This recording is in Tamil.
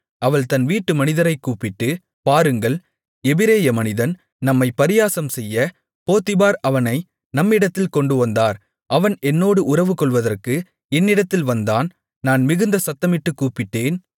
அவள் தன் வீட்டு மனிதரைக் கூப்பிட்டு பாருங்கள் எபிரெய மனிதன் நம்மை பரியாசம்செய்ய போத்திபார் அவனை நம்மிடத்தில் கொண்டுவந்தார் அவன் என்னோடு உறவுகொள்வதற்கு என்னிடத்தில் வந்தான் நான் மிகுந்த சத்தமிட்டுக் கூப்பிட்டேன்